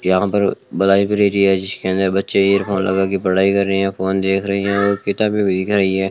यहां पे लाइब्रेरी है जिसके अंदर बच्चे एयरफोन लगाके पढ़ाई कर रहे हैं फोन देख रही है किताबें देख रही हैं।